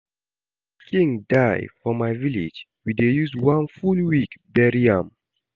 If king die for my village, we dey use one full week bury am